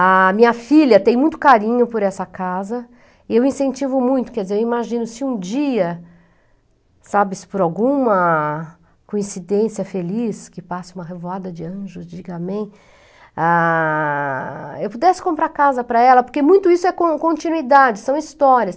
A minha filha tem muito carinho por essa casa e eu incentivo muito, quer dizer, eu imagino se um dia, sabe, se por alguma coincidência feliz, que passe uma revoada de anjos, diga amém, ah, eu pudesse comprar a casa para ela, porque muito isso é con continuidade, são histórias.